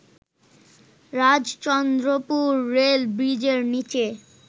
Rajchandrapur rail ব্রিজের নীচে